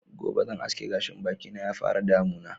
Gobe zan aske gashi na ya fara damuna